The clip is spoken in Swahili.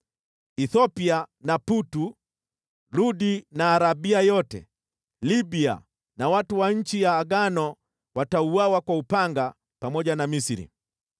Kushi na Putu, Ludi na Arabia yote, Libya na watu wa nchi ya Agano watauawa kwa upanga pamoja na Misri.